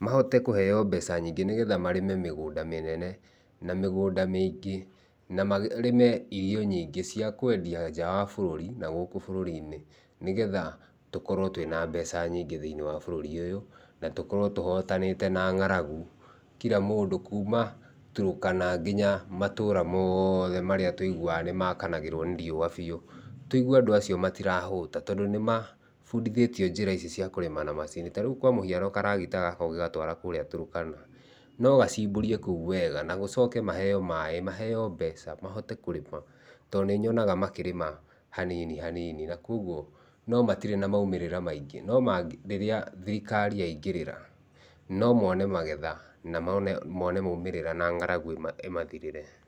mahote kũheo mbeca nyĩngĩ nĩgetha marĩme mĩgunda mĩnene na mĩgunda mĩingĩ na marĩme irio nyĩngĩ cia kũendia nja wa bũrũri, na gũkũ bũrũri-inĩ, nĩgetha tũkorwo twĩna mbeca nyĩngĩ thiĩniĩ wa bũrũri ũyũ na tũkorwo tũhotanite na ng'aragu, kila mũndũ kuma Turũkana ngĩnya matũra moothe marĩa tũiguaga nimakanagĩrwo nĩ riua bĩũ. Tũigue andũ acio matirahũta, tondũ nĩmabundithĩtio njĩra ici cia kũrima na macini. Ta rĩu kwa mũhiano karagita gaka ũngĩgatwara kũrĩa Turũkana no gachimbũrie kũu wega na gũchoke maheo maĩ, maheo mbeca mahote kũrĩma, to nĩnyonaga makĩrĩma hanini hanini, na kogwo no matĩrĩ na maũmĩrĩra maingĩ no rĩrĩa thirikari yaingĩrĩra nomone magetha na mone maũmĩrĩra na ng'aragu ĩmathirĩre.